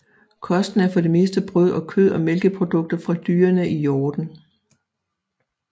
Kosten er for det meste brød og kød og mælkeprodukter fra dyrene i hjorden